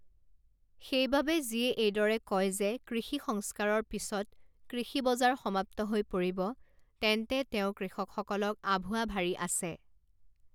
সেইবাবে যিয়ে এইদৰে কয় যে কৃষি সংস্কাৰৰ পিছত কৃষি বজাৰ সমাপ্ত হৈ পৰিব, তেন্তে তেওঁ কৃষকসকলক আঁভুৱা ভাৰি আছে।